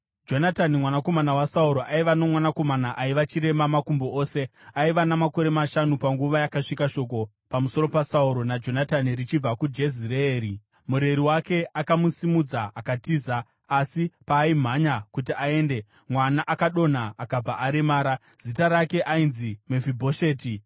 Jonatani mwanakomana waSauro aiva nomwanakomana aiva chirema makumbo ose. Aiva namakore mashanu panguva yakasvika shoko pamusoro paSauro naJonatani richibva kuJezireeri. Mureri wake akamusimudza akatiza, asi paaimhanya kuti aende, mwana akadonha akabva aremara. Zita rake ainzi Mefibhosheti.